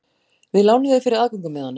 Við lánum þér fyrir aðgöngumiðanum.